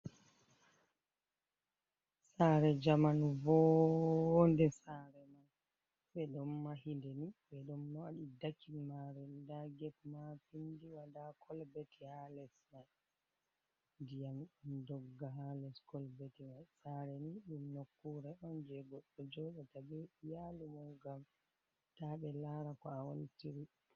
Sare jamanu vonɗe sare man ɓe ɗon mahinde ni be ɗo ɗon dakil mare da get ma pindi wada kolbeti ha les ma ndiyam on dogga ha les kolbeti sare ni ɗum nokkure on jego jodata be yalu mu ngam ta be lara ko a wontir.